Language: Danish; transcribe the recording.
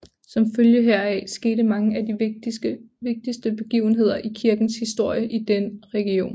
Som følge heraf skete mange af de vigtigste begivenheder i kirkens historie i den region